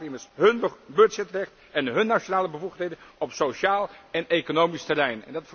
Het raakt immers aan hun budgetrecht en hun nationale bevoegdheden op sociaal en economisch terrein!